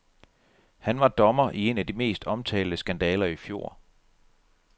Han var dommer i en af de mest omtalte skandaler i fjor.